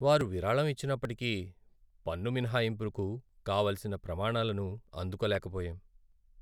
వారు విరాళం ఇచ్చినప్పటికీ, పన్ను మినహాయింపుకు కావలసిన ప్రమాణాలను అందుకోలేకపోయాం.